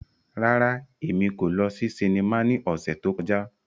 Rárá, Emi ko lọ si sinima ni ọsẹ to kọja.